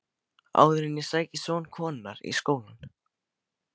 Áður en ég sæki son konunnar í skólann.